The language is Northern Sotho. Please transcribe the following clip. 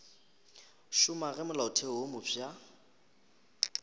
šoma ge molaotheo wo mofsa